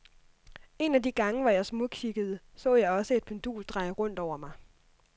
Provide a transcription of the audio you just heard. En af de gange, hvor jeg smugkiggede, så jeg også et pendul dreje rundt over mig.